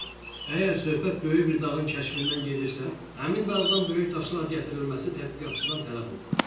Məsələn, əgər söhbət böyük bir dağın kəşfindən gedirsə, həmin dağdan böyük daşlar gətirilməsi tədqiqatçıdan tələb olunur.